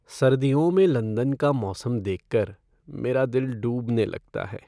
सर्दियों में लंदन का मौसम देख कर मेरा दिल डूबने लगता है।